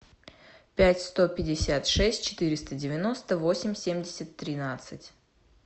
пять сто пятьдесят шесть четыреста девяносто восемь семьдесят тринадцать